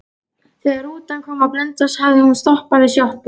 Þegar rútan kom á Blönduós hafði hún stoppað við sjoppu.